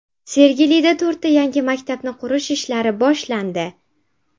Sergelida to‘rtta yangi maktabni qurish ishlari boshlandi.